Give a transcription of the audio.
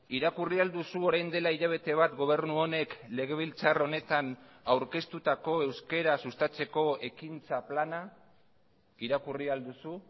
irakurri ahal duzu orain dela hilabete bat gobernu honek legebiltzar honetan aurkeztutako euskara sustatzeko ekintza plana irakurri al duzu